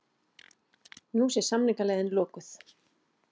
Nú sé samningaleiðin lokuð